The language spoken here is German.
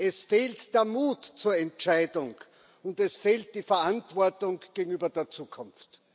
Es fehlt der Mut zur Entscheidung, und es fehlt die Verantwortung gegenüber der Zukunft.